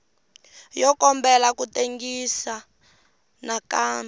yo kombela ku tengisiwa nakambe